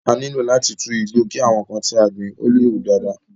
A nílò láti tu igbo ki àwọn nnkan tí a gbìn le hu dáadáa.